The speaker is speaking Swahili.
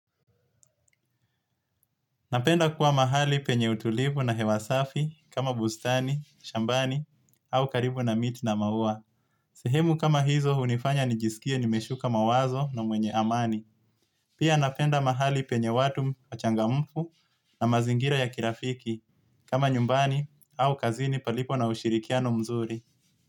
Napenda kuwa mahali penye utulivu na hewasafi kama bustani, shambani au karibu na miti na maua. Sehemu kama hizo unifanya nijisikie nimeshuka mawazo na mwenye amani. Pia napenda mahali penye watu machangamfu na mazingira ya kirafiki kama nyumbani au kazini palipo na ushirikiano mzuri.